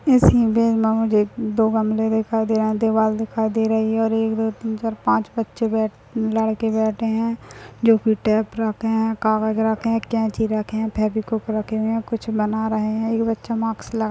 इस इमेज में मुझे एक दो गमले दिखाई दे रहे है दीवाल दिखाई दे रही है और एक दौ तीन चार पांच बच्चे लड़के बैठे है जो कि टेप रखे है कागज रखे है कैंची रखे है फेवीक्विक रखे हुए हैं कुछ बना रहे है एक बच्चे मार्क्स लगा --